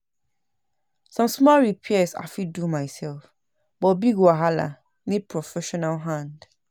Some small repairs I fit do myself, but big wahala need professional hand.